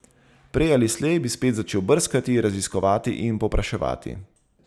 Prej ali slej bi spet začel brskati, raziskovati in povpraševati.